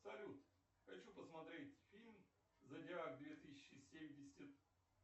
салют хочу посмотреть фильм зодиак две тысячи семьдесят